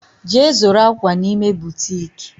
Je zuru akwa n'ime butiiki